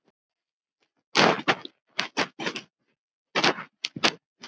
Heimir Már: Hver er það?